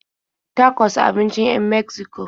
Tacos abincin 'yan Megziko ne.